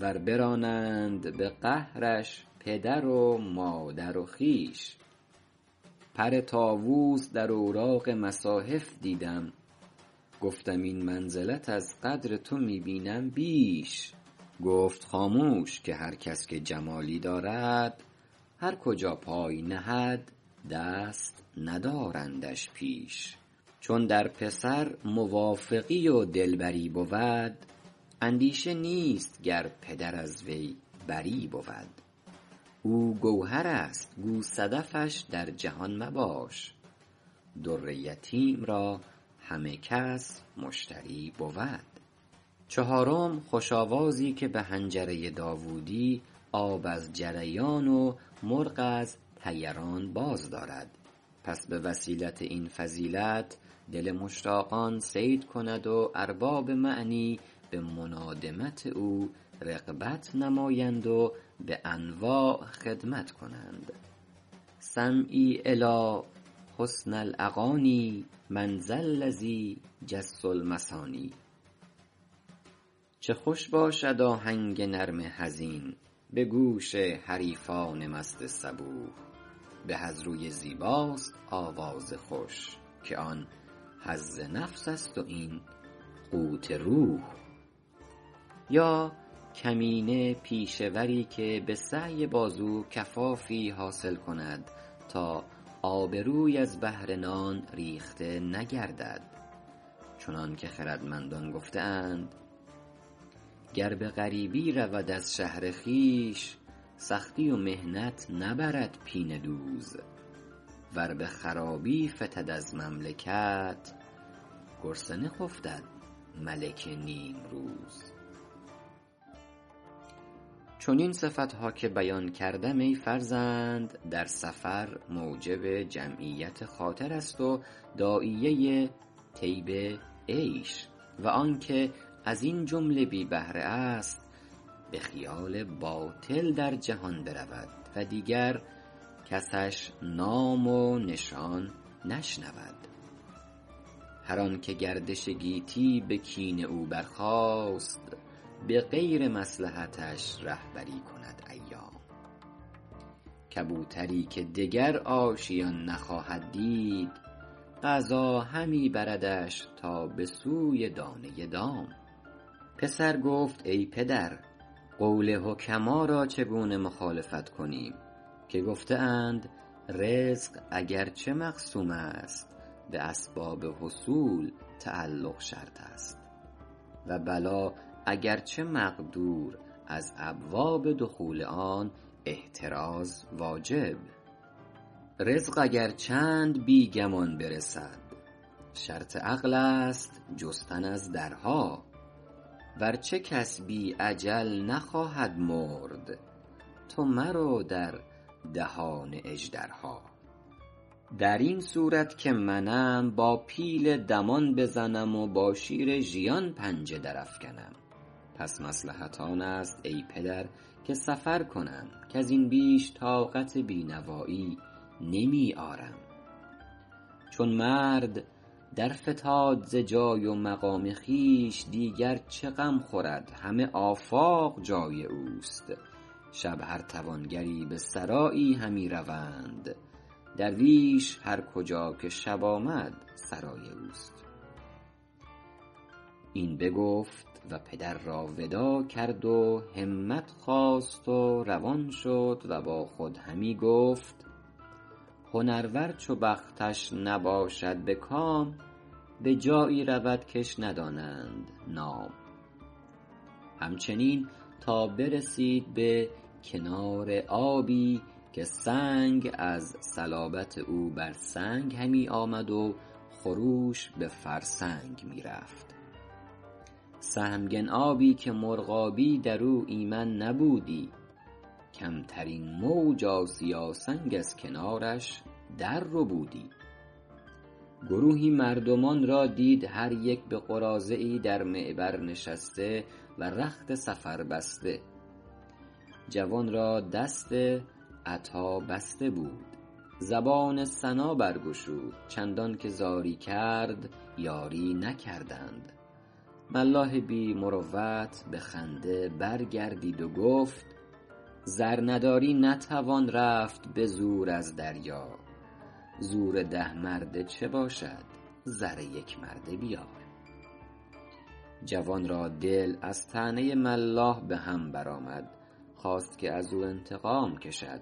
ور برانند به قهرش پدر و مادر و خویش پر طاووس در اوراق مصاحف دیدم گفتم این منزلت از قدر تو می بینم بیش گفت خاموش که هر کس که جمالی دارد هر کجا پای نهد دست ندارندش پیش چون در پسر موافقی و دلبری بود اندیشه نیست گر پدر از وی بری بود او گوهر است گو صدفش در جهان مباش در یتیم را همه کس مشتری بود چهارم خوش آوازی که به حنجره داوودی آب از جریان و مرغ از طیران باز دارد پس به وسیلت این فضیلت دل مشتاقان صید کند و ارباب معنی به منادمت او رغبت نمایند و به انواع خدمت کنند سمعی الیٰ حسن الاغانی من ذا الذی جس المثانی چه خوش باشد آهنگ نرم حزین به گوش حریفان مست صبوح به از روی زیباست آواز خوش که آن حظ نفس است و این قوت روح یا کمینه پیشه وری که به سعی بازو کفافی حاصل کند تا آبروی از بهر نان ریخته نگردد چنان که خردمندان گفته اند گر به غریبی رود از شهر خویش سختی و محنت نبرد پینه دوز ور به خرابی فتد از مملکت گرسنه خفتد ملک نیمروز چنین صفت ها که بیان کردم ای فرزند در سفر موجب جمعیت خاطر است و داعیه طیب عیش و آن که از این جمله بی بهره است به خیال باطل در جهان برود و دیگر کسش نام و نشان نشنود هر آن که گردش گیتی به کین او برخاست به غیر مصلحتش رهبری کند ایام کبوتری که دگر آشیان نخواهد دید قضا همی بردش تا به سوی دانه دام پسر گفت ای پدر قول حکما را چگونه مخالفت کنیم که گفته اند رزق اگرچه مقسوم است به اسباب حصول تعلق شرط است و بلا اگرچه مقدور از ابواب دخول آن احتراز واجب رزق اگر چند بی گمان برسد شرط عقل است جستن از درها ورچه کس بی اجل نخواهد مرد تو مرو در دهان اژدرها در این صورت که منم با پیل دمان بزنم و با شیر ژیان پنجه در افکنم پس مصلحت آن است ای پدر که سفر کنم کز این بیش طاقت بینوایی نمی آرم چون مرد درفتاد ز جای و مقام خویش دیگر چه غم خورد همه آفاق جای اوست شب هر توانگری به سرایی همی روند درویش هرکجا که شب آمد سرای اوست این بگفت و پدر را وداع کرد و همت خواست و روان شد و با خود همی گفت هنرور چو بختش نباشد به کام به جایی رود کش ندانند نام همچنین تا برسید به کنار آبی که سنگ از صلابت او بر سنگ همی آمد و خروش به فرسنگ می رفت سهمگن آبی که مرغابی در او ایمن نبودی کمترین موج آسیا سنگ از کنارش در ربودی گروهی مردمان را دید هر یک به قراضه ای در معبر نشسته و رخت سفر بسته جوان را دست عطا بسته بود زبان ثنا برگشود چندان که زاری کرد یاری نکردند ملاح بی مروت به خنده برگردید و گفت زر نداری نتوان رفت به زور از دریار زور ده مرده چه باشد زر یک مرده بیار جوان را دل از طعنه ملاح به هم برآمد خواست که از او انتقام کشد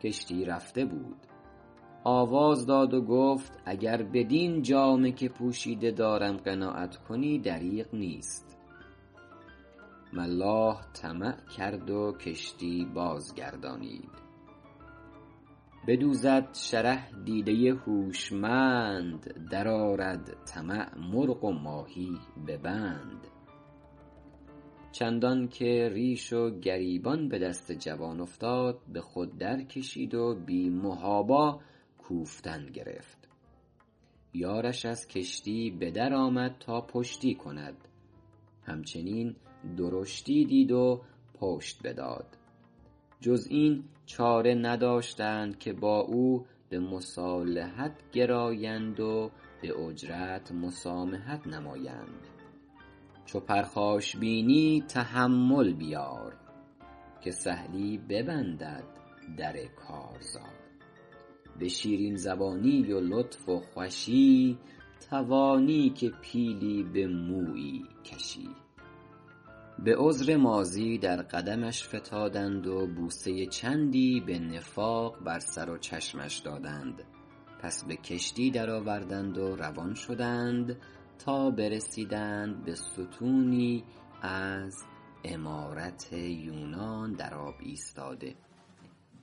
کشتی رفته بود آواز داد و گفت اگر بدین جامه که پوشیده دارم قناعت کنی دریغ نیست ملاح طمع کرد و کشتی بازگردانید بدوزد شره دیده هوشمند در آرد طمع مرغ و ماهی به بند چندان که ریش و گریبان به دست جوان افتاد به خود درکشید و بی محابا کوفتن گرفت یارش از کشتی به در آمد تا پشتی کند همچنین درشتی دید و پشت بداد جز این چاره نداشتند که با او به مصالحت گرایند و به اجرت مسامحت نمایند کل مدٰاراة صدقة چو پرخاش بینی تحمل بیار که سهلی ببندد در کارزار به شیرین زبانی و لطف و خوشی توانی که پیلی به مویی کشی به عذر ماضی در قدمش فتادند و بوسه چندی به نفاق بر سر و چشمش دادند پس به کشتی درآوردند و روان شدند تا برسیدند به ستونی از عمارت یونان در آب ایستاده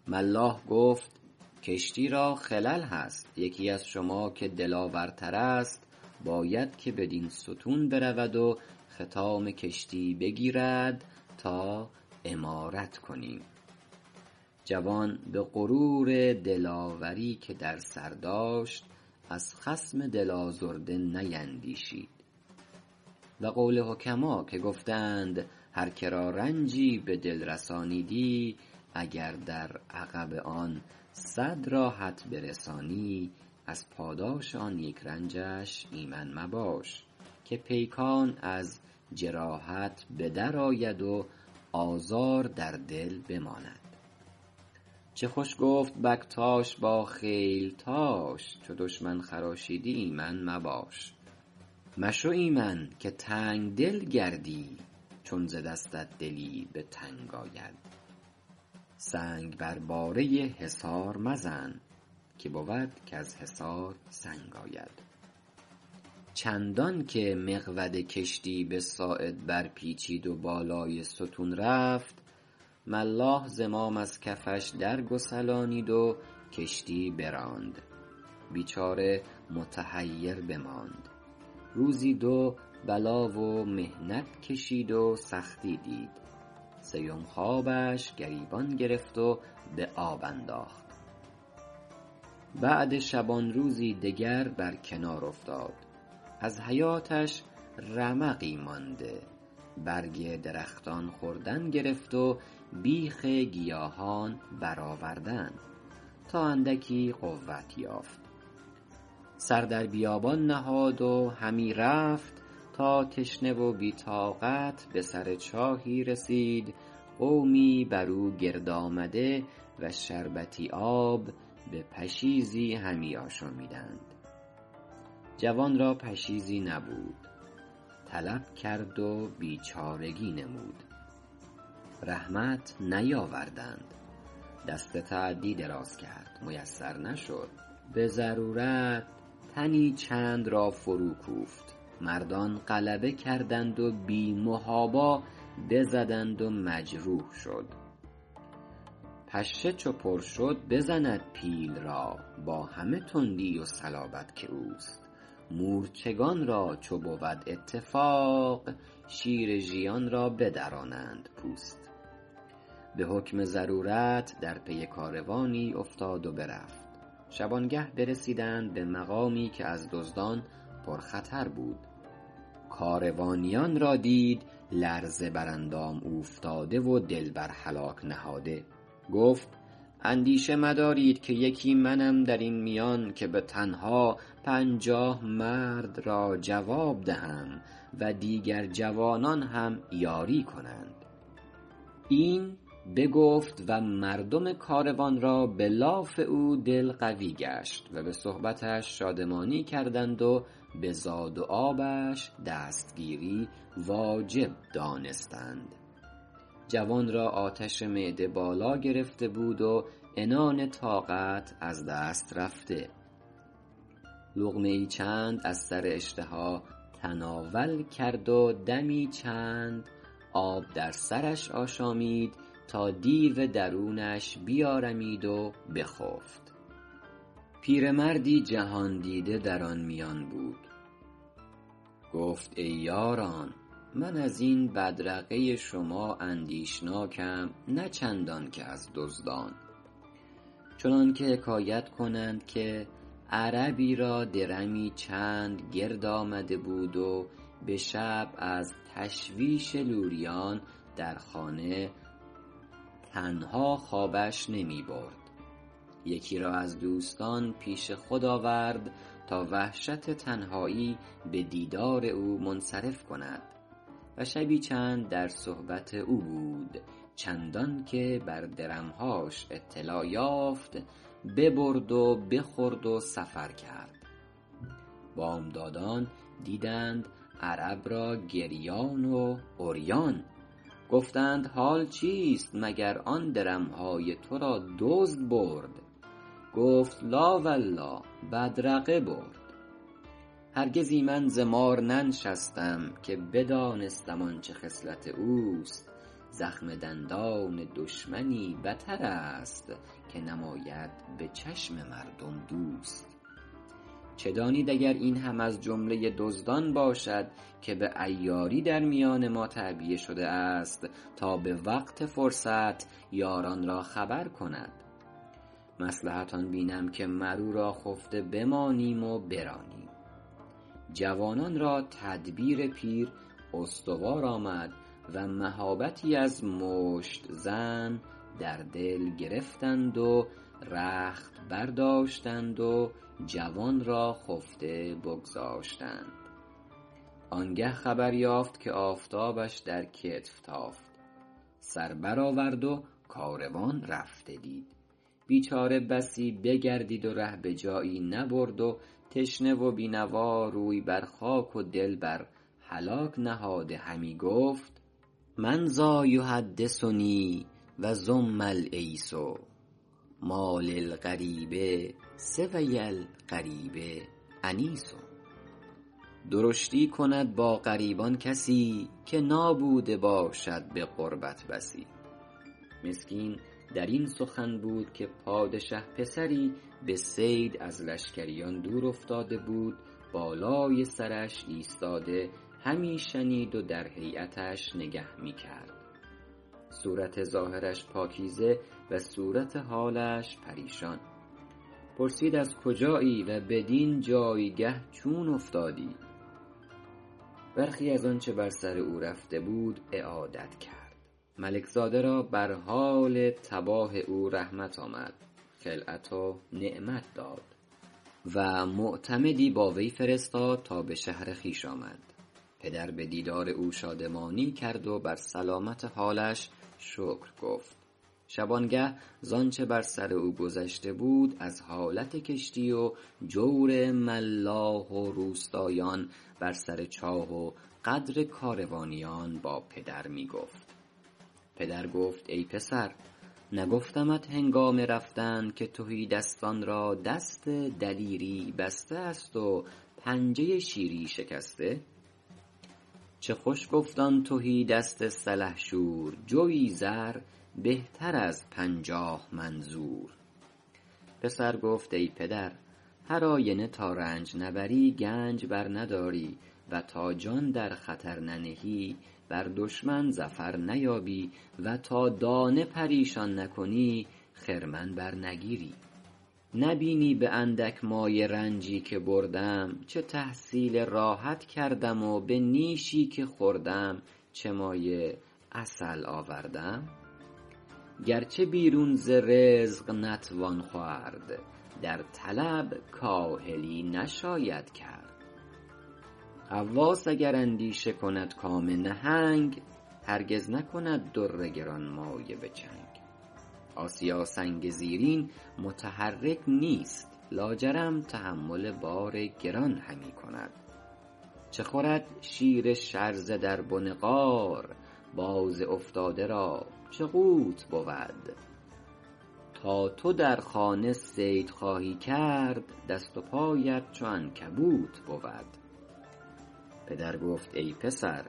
ملاح گفت کشتی را خلل هست یکی از شما که دلاور تر است باید که بدین ستون برود و خطام کشتی بگیرد تا عمارت کنیم جوان به غرور دلاوری که در سر داشت از خصم دل آزرده نیندیشید و قول حکما که گفته اند هر که را رنجی به دل رسانیدی اگر در عقب آن صد راحت برسانی از پاداش آن یک رنجش ایمن مباش که پیکان از جراحت به درآید و آزار در دل بماند چه خوش گفت بکتاش با خیلتاش چو دشمن خراشیدی ایمن مباش مشو ایمن که تنگ دل گردی چون ز دستت دلی به تنگ آید سنگ بر باره حصار مزن که بود کز حصار سنگ آید چندان که مقود کشتی به ساعد برپیچید و بالای ستون رفت ملاح زمام از کفش درگسلانید و کشتی براند بیچاره متحیر بماند روزی دو بلا و محنت کشید و سختی دید سیم خوابش گریبان گرفت و به آب انداخت بعد شبانروزی دگر بر کنار افتاد از حیاتش رمقی مانده برگ درختان خوردن گرفت و بیخ گیاهان برآوردن تا اندکی قوت یافت سر در بیابان نهاد و همی رفت تا تشنه و بی طاقت به سر چاهی رسید قومی بر او گرد آمده و شربتی آب به پشیزی همی آشامیدند جوان را پشیزی نبود طلب کرد و بیچارگی نمود رحمت نیاوردند دست تعدی دراز کرد میسر نشد به ضرورت تنی چند را فروکوفت مردان غلبه کردند و بی محابا بزدند و مجروح شد پشه چو پر شد بزند پیل را با همه تندی و صلابت که اوست مورچگان را چو بود اتفاق شیر ژیان را بدرانند پوست به حکم ضرورت در پی کاروانی افتاد و برفت شبانگه برسیدند به مقامی که از دزدان پرخطر بود کاروانیان را دید لرزه بر اندام اوفتاده و دل بر هلاک نهاده گفت اندیشه مدارید که یکی منم در این میان که به تنها پنجاه مرد را جواب دهم و دیگر جوانان هم یاری کنند این بگفت و مردم کاروان را به لاف او دل قوی گشت و به صحبتش شادمانی کردند و به زاد و آبش دستگیری واجب دانستند جوان را آتش معده بالا گرفته بود و عنان طاقت از دست رفته لقمه ای چند از سر اشتها تناول کرد و دمی چند آب در سرش آشامید تا دیو درونش بیارمید و بخفت پیرمردی جهان دیده در آن میان بود گفت ای یاران من از این بدرقه شما اندیشناکم نه چندان که از دزدان چنان که حکایت کنند که عربی را درمی چند گرد آمده بود و به شب از تشویش لوریان در خانه تنها خوابش نمی برد یکی را از دوستان پیش خود آورد تا وحشت تنهایی به دیدار او منصرف کند و شبی چند در صحبت او بود چندان که بر درم هاش اطلاع یافت ببرد و بخورد و سفر کرد بامدادان دیدند عرب را گریان و عریان گفتند حال چیست مگر آن درم های تو را دزد برد گفت لٰا ولله بدرقه برد هرگز ایمن ز مار ننشستم که بدانستم آنچه خصلت اوست زخم دندان دشمنی بتر است که نماید به چشم مردم دوست چه دانید اگر این هم از جمله دزدان باشد که به عیاری در میان ما تعبیه شده است تا به وقت فرصت یاران را خبر کند مصلحت آن بینم که مر او را خفته بمانیم و برانیم جوانان را تدبیر پیر استوار آمد و مهابتی از مشت زن در دل گرفتند و رخت برداشتند و جوان را خفته بگذاشتند آن گه خبر یافت که آفتابش در کتف تافت سر برآورد و کاروان رفته دید بیچاره بسی بگردید و ره به جایی نبرد تشنه و بی نوا روی بر خاک و دل بر هلاک نهاده همی گفت من ذٰا یحدثنی و زم العیس مٰا للغریب سوی الغریب انیس درشتی کند با غریبان کسی که نابوده باشد به غربت بسی مسکین در این سخن بود که پادشه پسری به صید از لشکریان دورافتاده بود بالای سرش ایستاده همی شنید و در هیأتش نگه می کرد صورت ظاهرش پاکیزه و صورت حالش پریشان پرسید از کجایی و بدین جایگه چون افتادی برخی از آنچه بر سر او رفته بود اعادت کرد ملک زاده را بر حال تباه او رحمت آمد خلعت و نعمت داد و معتمدی با وی فرستاد تا به شهر خویش آمد پدر به دیدار او شادمانی کرد و بر سلامت حالش شکر گفت شبانگه ز آنچه بر سر او گذشته بود از حالت کشتی و جور ملاح و روستایان بر سر چاه و غدر کاروانیان با پدر می گفت پدر گفت ای پسر نگفتمت هنگام رفتن که تهیدستان را دست دلیری بسته است و پنجه شیری شکسته چه خوش گفت آن تهی دست سلحشور جوی زر بهتر از پنجاه من زور پسر گفت ای پدر هر آینه تا رنج نبری گنج برنداری و تا جان در خطر ننهی بر دشمن ظفر نیابی و تا دانه پریشان نکنی خرمن برنگیری نه بینی به اندک مایه رنجی که بردم چه تحصیل راحت کردم و به نیشی که خوردم چه مایه عسل آوردم گرچه بیرون ز رزق نتوان خورد در طلب کاهلی نشاید کرد غواص اگر اندیشه کند کام نهنگ هرگز نکند در گرانمایه به چنگ آسیا سنگ زیرین متحرک نیست لاجرم تحمل بار گران همی کند چه خورد شیر شرزه در بن غار باز افتاده را چه قوت بود تا تو در خانه صید خواهی کرد دست و پایت چو عنکبوت بود پدر گفت ای پسر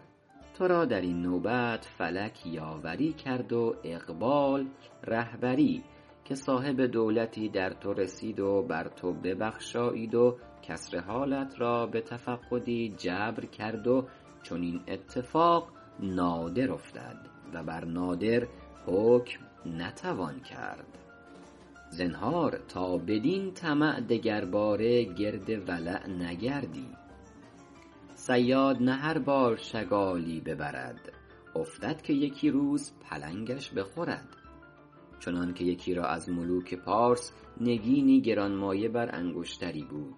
تو را در این نوبت فلک یاوری کرد و اقبال رهبری که صاحب دولتی در تو رسید و بر تو ببخشایید و کسر حالت را به تفقدی جبر کرد و چنین اتفاق نادر افتد و بر نادر حکم نتوان کرد زنهار تا بدین طمع دگرباره گرد ولع نگردی صیاد نه هر بار شگالی ببرد افتد که یکی روز پلنگش بخورد چنان که یکی را از ملوک پارس نگینی گرانمایه بر انگشتری بود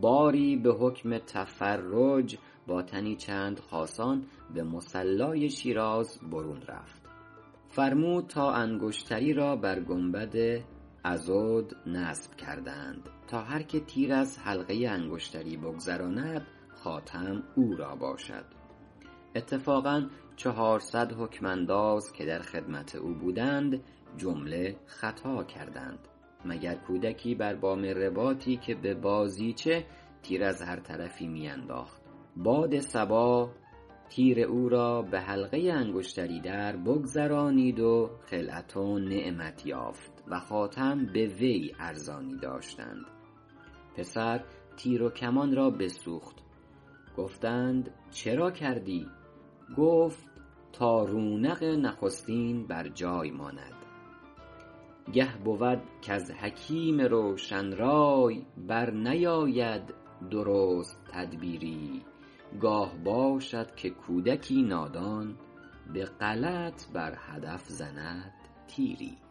باری به حکم تفرج با تنی چند خاصان به مصلای شیراز برون رفت فرمود تا انگشتری را بر گنبد عضد نصب کردند تا هر که تیر از حلقه انگشتری بگذراند خاتم او را باشد اتفاقا چهارصد حکم انداز که در خدمت او بودند جمله خطا کردند مگر کودکی بر بام رباطی که به بازیچه تیر از هر طرفی می انداخت باد صبا تیر او را به حلقه انگشتری دربگذرانید و خلعت و نعمت یافت و خاتم به وی ارزانی داشتند پسر تیر و کمان را بسوخت گفتند چرا کردی گفت تا رونق نخستین بر جای ماند گه بود کز حکیم روشن رای برنیاید درست تدبیری گاه باشد که کودکی نادان به غلط بر هدف زند تیری